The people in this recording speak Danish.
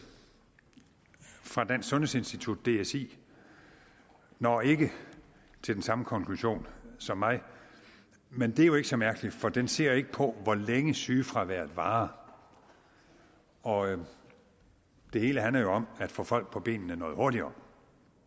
fra dansk sundhedsinstitut dsi når ikke til den samme konklusion som mig men det er ikke så mærkeligt for den ser ikke på hvor længe sygefraværet varer og det hele handler jo om at få folk på benene noget hurtigere